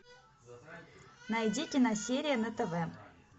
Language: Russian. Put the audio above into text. найди киносерия на тв